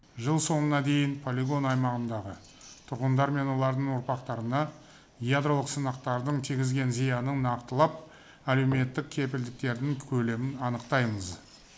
жыл соңына дейін полигон аймағындағы тұрғындар мен олардың ұрпақтарына ядролық сынақтардың тигізген зиянын нақтылап әлеуметтік кепілдіктердің көлемін анықтаймыз